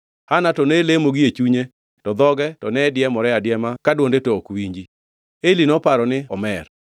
Hana to ne lemo gie chunye to dhoge to ne diemore adiema to dwonde to ok winji. Eli noparo ni omer